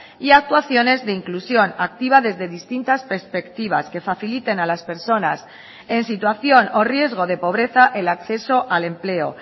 y actuaciones de inclusión activa desde distintas perspectivas que faciliten a las personas en situación o riesgo de pobreza el acceso al empleo